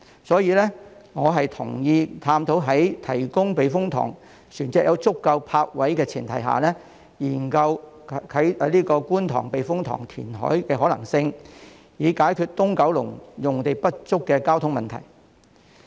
所以，我同意在避風塘船隻獲提供足夠泊位的前提下，研究觀塘避風塘填海的可能性，以解決九龍東用地不足的交通問題。